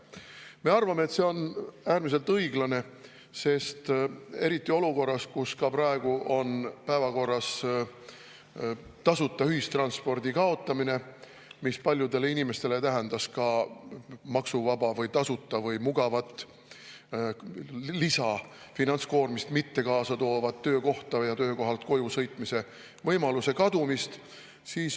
Me arvame, et see on äärmiselt õiglane, eriti olukorras, kus praegu on päevakorras tasuta ühistranspordi kaotamine, mis paljudele inimestele tähendaks ka maksuvaba või tasuta või mugavat lisafinantskoormust mitte kaasa toova töökohta ja töökohalt koju sõitmise võimaluse kadumist.